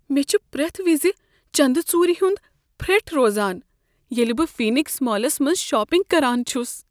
مےٚ چھُ پریتھ وزِ چند ژُورِ ہُند پھرٹھ روزان ییلِہ بہٕ فینکٕس مالس منز شاپنگ کران چھس ۔